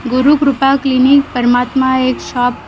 Gurukrupa clinic परमात्मा एक shop --